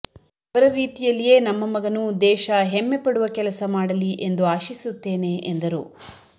ಅವರ ರೀತಿಯಲ್ಲಿಯೇ ನಮ್ಮ ಮಗನು ದೇಶ ಹೆಮ್ಮೆ ಪಡುವ ಕೆಲಸ ಮಾಡಲಿ ಎಂದು ಆಶಿಸುತ್ತೇನೆ ಎಂದರು